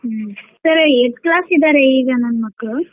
ಹ್ಮ್ sir eighth class ಇದಾರೆ ಈಗ ನನ್ ಮಕ್ಳು .